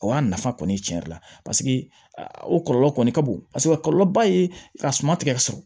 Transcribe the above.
O y'a nafa kɔni ye tiɲɛ yɛrɛ la paseke o kɔlɔlɔ kɔni ka bon a kɔlɔlɔba ye ka suma tigɛ